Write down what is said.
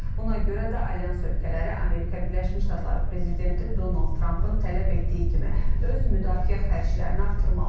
Buna görə də Alyans ölkələri Amerika Birləşmiş Ştatları prezidenti Donald Trampın tələb etdiyi kimi öz müdafiə xərclərini artırmalıdır.